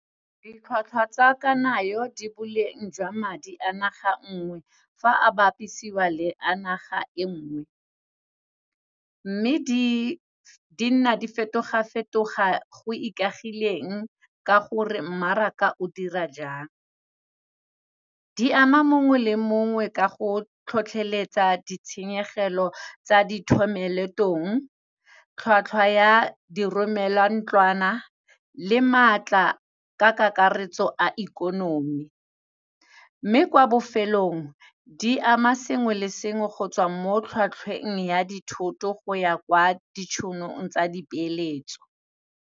Ditlhwatlhwa tsa kanayo di boleng jwa madi a naga nngwe, fa a bapisiwa le a naga e nngwe. Mme di nna di fetoga fetoga go ikaegileng ka gore mmaraka o dira jang. Di ama mongwe le mongwe, ka go tlhotlheletsa ditshenyegelo tsa dithomeleetong. Tlhwatlhwa ya diromelantlwana le maatla ka kakaretso a ikonomi. Mme kwa bofelong, di ama sengwe le sengwe go tswa mo tlhwatlhweng ya dithoto go ya kwa ditšhonong tsa dipeeletso.